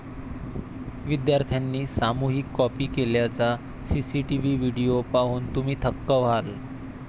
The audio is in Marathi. विद्यार्थ्यांनी सामूहिक कॉपी केल्याचा सीसीटीव्ही व्हिडिओ पाहून तुम्ही थक्क व्हाल!